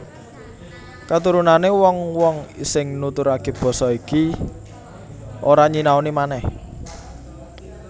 Katurunané wong wong sing nuturaké basa iki ora nyinaoni manèh